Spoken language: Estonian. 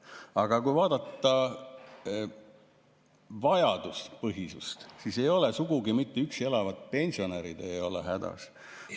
Aga kui vaadata vajaduspõhisust, siis ei ole sugugi mitte üksi elavad pensionärid hädas.